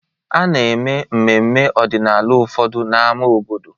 A na-eme mmemme ọdịnala ụfọdụ na n'ámá obodo.